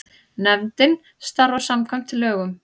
Nefndin starfar samkvæmt lögum.